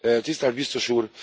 Tisztelt Biztos úr!